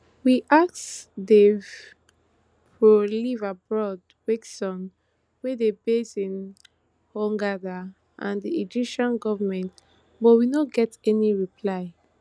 we ask dive pro liveaboard kwesions wey dey based in hurghada and di egyptian goment but we no get any reply